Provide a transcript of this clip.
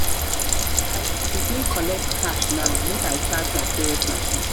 go begin collect cash now make i charge my pos machine.